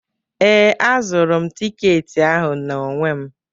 Ee, azụrụ m tiketi ahụ n'onwe m.